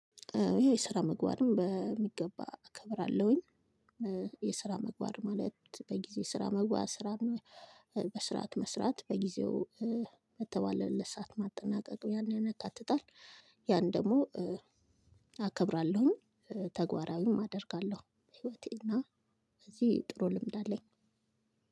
ይሄ የስራ ምግባርን በሚገባ እከብራለሁኝ። የስራ መግባር ማለት በጊዜ ስራ መግባት ስራ ነው። በስራት መስራት በጊዜው በተባለለት ለሰአት ማጠናቀቅ ያን ያን ያካትታል። ያን ደሞ አከብራለሁኝ። ተጓራዊም አደርጋለሁ ህይወቴና በዚህ ጥሩ ልምድ አለኝ።